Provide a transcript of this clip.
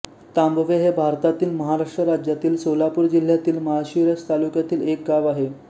तांबवे हे भारतातील महाराष्ट्र राज्यातील सोलापूर जिल्ह्यातील माळशिरस तालुक्यातील एक गाव आहे